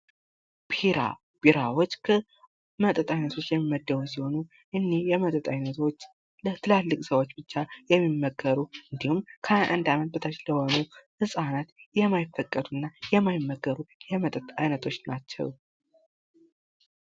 ቢራ ቢራዎች ከመጠጥ አይነቶቹ የሚመደቡ ሲሆኑ እነዚህ የመጠጥ አይነቶች ለትላልቅ ሰዎች ብቻ የሚመከሩ እንድሁም ከሀያ አንድ አመት በታች ለሆኑ ህጻናት የማይፈቀዱ እና የማይመከሩ የመጠጥ አይነቶች ናቸው።